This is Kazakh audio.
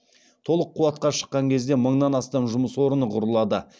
толық қуатқа шыққан кезде мыңнан астам жұмыс орны құрылады